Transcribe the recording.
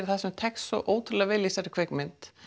það sem tekst svo ótrúlega vel í þessari kvikmynd